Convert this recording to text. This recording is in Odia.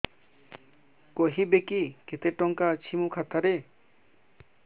କହିବେକି କେତେ ଟଙ୍କା ଅଛି ମୋ ଖାତା ରେ